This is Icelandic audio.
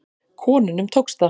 Konunum tókst það.